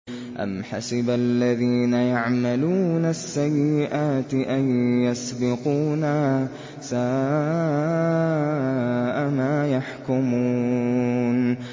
أَمْ حَسِبَ الَّذِينَ يَعْمَلُونَ السَّيِّئَاتِ أَن يَسْبِقُونَا ۚ سَاءَ مَا يَحْكُمُونَ